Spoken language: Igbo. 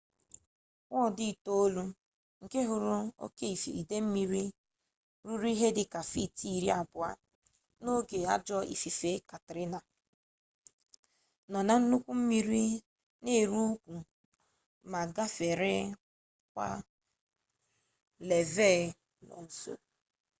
ward itoolu nke hụrụ oke ide mmiri ruru ihe dị ka feet iri abụọ n'oge ajọ ifufe katrina nọ na nnukwu mmiri na eru ukwu ma gafere akwa levee nọ nso